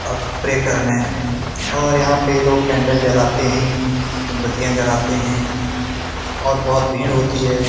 अ pray करने और यहां पे लोग कैंडल जलते हैं मोमबत्तियां जलाते हैं और बहुत भीड़ होती है।